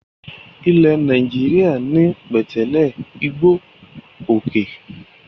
Ilẹ̀ Nàìjíríà ní pẹ̀tẹ́lẹ̀, igbó, òkè.